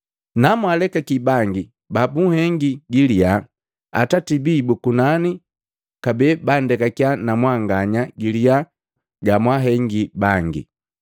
“Namwalekaki bangi babunhengi giliya, Atati bii bu kunani kabee bandekakya na mwanganya giliya gamwahengi bangi.